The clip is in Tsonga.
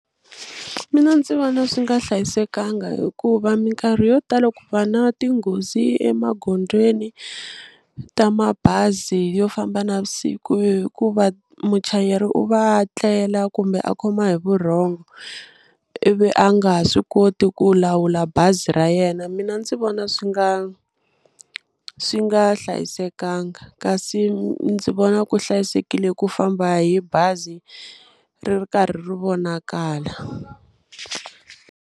Mina ndzi vona swi nga hlayisekanga hikuva minkarhi yo tala ku va na tinghozi emagondzweni ta mabazi yo famba navusiku hikuva muchayeri u va tlela kumbe a khoma hi vurhongo ivi a nga ha swi koti ku lawula bazi ra yena, mina ndzi vona swi nga swi nga hlayisekanga kasi ndzi vona ku hlayisekile ku famba hi bazi ri ri karhi ri vonakala.